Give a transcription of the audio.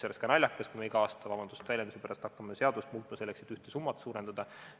Oleks naljakas, kui me iga aasta, vabandust väljenduse pärast, hakkaksime seadust muutma selleks, et ühte summat suurendada.